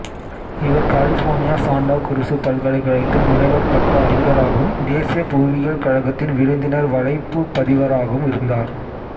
இவர் California Santa Cruz பல்கலைக்கழகத்தில் முனைவர் பட்ட அறிஞராகவும் தேசிய புவியியல் கழகத்தின் விருந்தினர் வலைப்பூ பதிவராகவும் இருந்தார்